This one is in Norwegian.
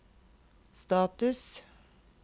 status